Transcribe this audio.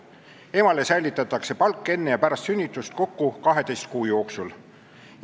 Emale säilitatakse palk enne ja pärast sünnitust kokku 12 kuu jooksul.